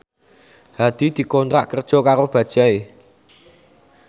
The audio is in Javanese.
Hadi dikontrak kerja karo Bajaj